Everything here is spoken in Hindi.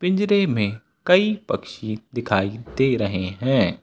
पिंजरे में कई पक्षी दिखाई दे रहे हैं।